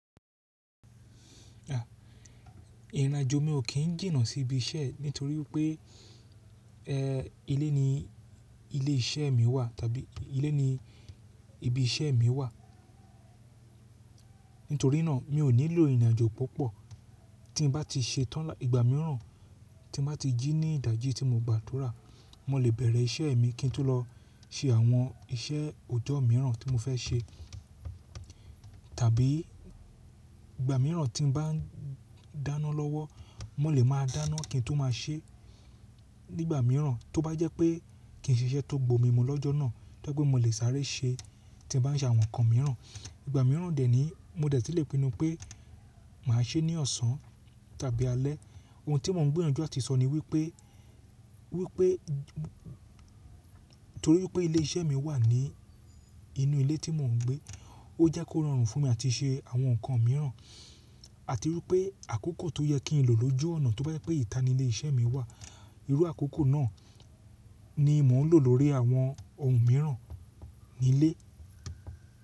Ìrìnàjò mi ò kín jìnnà sí ibi iṣẹ́ nítorí pé, ẹ, ilé ni ilé iṣẹ́ mi wà tàbí ilé ni ibi iṣẹ́ mi wà. Nítorí náà mi ò nílò ìrìnàjò púpọ̀. Tí mo bá ti ṣe tán là, ìgbà míràn tí mo bá ti jí ní ìdájí tí mo gba tura, mo lè bẹ̀rẹ̀ iṣẹ́ mi kí n tó lọ ṣe àwọn iṣẹ́ òjọ́ míràn tí mo fẹ́ ṣe. Tàbí ìgbà miíràn tí mo bá ń dáná lọ́wọ́, mo lè máa dáná kí n tó máa ṣe nígbà miíràn. Tó bá jẹ́ pé kí n ṣe iṣẹ́ tó gbò mí mu lọ́jọ́ náà, tó bá jẹ́ pé mo lè sáré ṣe tí mo bá n ṣe àwọn nǹkan miíràn. Ìgbà miíràn dè ẹ́ ní mo dẹ̀ tí lè pinnu pé màá ṣe é ní ọ̀sán tàbí alẹ́. Ohun tí mo ń gbiyanju àti sọ ni wípé, wípé, nítorí pé ilé iṣẹ́ mi wà ní inú ilé tí mo ń gbé, ó jẹ́ kó rọrùn fún mi àti ṣe àwọn nǹkan miíràn. Àti wípé àkókò tó yẹ kí n lò lójú ọ̀nà tó bá jẹ́ pé ìta ni ilé iṣẹ́ mi wà, irú àkókò náà ni mò ń lò lórí àwọn ohun miíràn nílé.